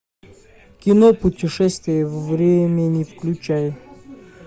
кино путешествие во времени включай